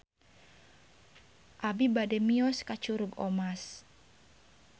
Abi bade mios ka Curug Omas